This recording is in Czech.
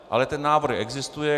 Ale ten návrh existuje.